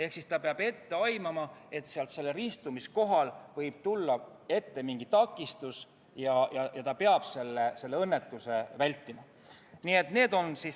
Rattur peab ette aimama, et sellel ristumiskohal võib tulla ette mingi takistus, ja ta peab õnnetust vältima.